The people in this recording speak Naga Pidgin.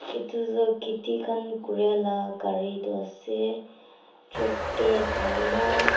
etu tu khiti khan kuria la gari toh ase tractor kowo na --